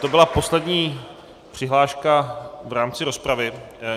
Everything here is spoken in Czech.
To byla poslední přihláška v rámci rozpravy.